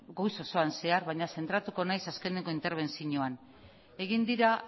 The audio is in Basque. goiz osoan zehar baina zentratuko naiz azkeneko interbenzioan egin dira